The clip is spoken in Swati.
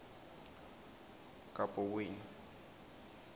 kabokweni